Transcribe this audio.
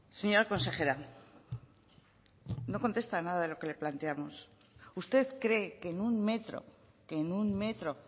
señora consejera no contesta a nada de lo que le planteamos usted cree que en un metro que en un metro